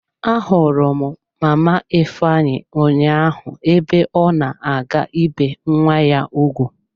Ahụrụ m mama ifeanyi ụnyaahụ ebe ọ na-aga ibe nwa ya ugwu.